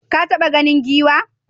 Ka taɓa ganin giwa?